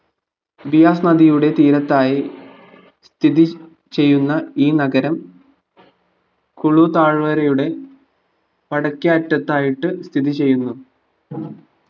വികാസ് നദിയുടെ തീരത്തായി സ്ഥിതി ചെയ്യുന്ന ഈ നഗരം കുളു താഴ്വരയുടെ വടക്കേ അറ്റതായിട്ട് സ്ഥിതി ചെയ്യുന്നു.